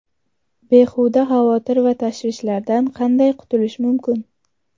Behuda xavotir va tashvishlardan qanday qutulish mumkin?.